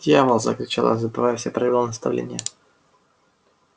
дьявол закричал забывая все правила и наставления